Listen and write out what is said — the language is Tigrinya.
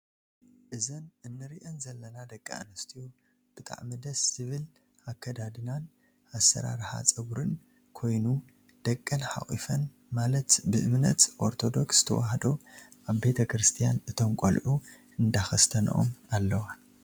እዘን እንሪኣን ዘለና ደቂ ኣንስትዮ ብጣዕሚ ደስ ዝብል ኣከዳድናን ኣሰራርሓ ፀጉር ኮይኑ ደቀን ሓኩፈን ማለት ብእምነት ኦርቶደርክ ተዋህዶ ኣብ ቤተክርስትያን እቶም ቆልዑ እንዳከስተነኦም ኣለዋ።